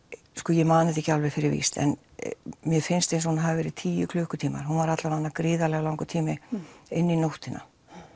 ég man þetta ekki alveg fyrir víst en mér finnst eins og hún hafi verið í tíu klukkutíma hún var allavega í gríðarlega langan tíma inn í nóttina